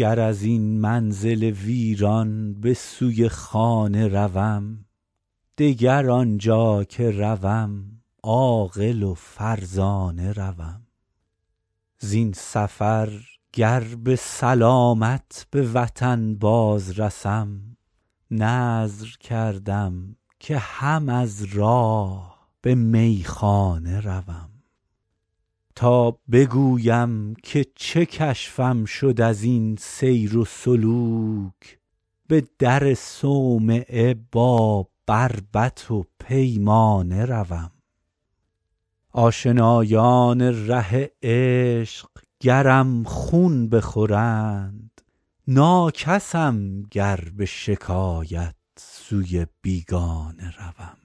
گر از این منزل ویران به سوی خانه روم دگر آنجا که روم عاقل و فرزانه روم زین سفر گر به سلامت به وطن باز رسم نذر کردم که هم از راه به میخانه روم تا بگویم که چه کشفم شد از این سیر و سلوک به در صومعه با بربط و پیمانه روم آشنایان ره عشق گرم خون بخورند ناکسم گر به شکایت سوی بیگانه روم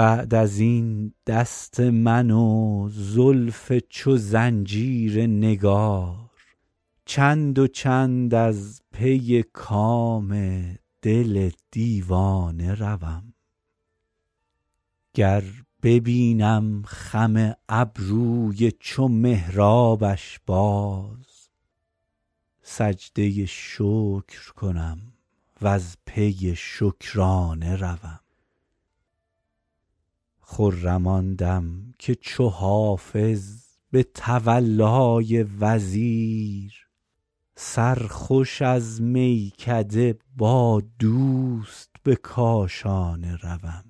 بعد از این دست من و زلف چو زنجیر نگار چند و چند از پی کام دل دیوانه روم گر ببینم خم ابروی چو محرابش باز سجده شکر کنم و از پی شکرانه روم خرم آن دم که چو حافظ به تولای وزیر سرخوش از میکده با دوست به کاشانه روم